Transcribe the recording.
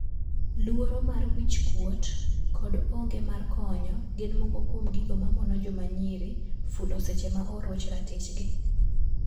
Luoro mar wich kuot kod onge mar konyo gin moko kuom gigo mamono jomanyiri fulo seche ma oroch ratich gi.